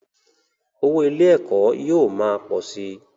Owó ilé - ẹ̀kọ́ yóò ma pọ̀ si